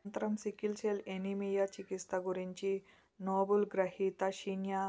అనంతరం sickle cell anaemia చికిత్స గురించి నోబుల్ గ్రహీత షిన్యా